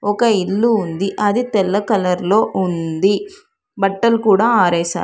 ఒక ఇల్లు ఉంది. అది తెల్ల కలర్లో ఉంది. బట్టలు కూడా ఆరేశారు.